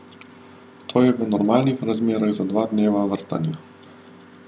To je v normalnih razmerah za dva dneva vrtanja.